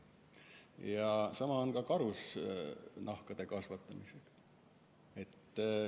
Ja sama on ka karusloomade kasvatamisega.